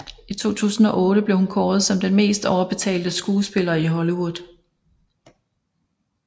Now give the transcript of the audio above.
I 2008 blev hun kåret som den mest overbetalte skuespiller i Hollywood